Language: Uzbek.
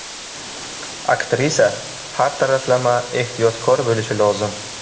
Aktrisa har taraflama ehtiyotkor bo‘lishi lozim.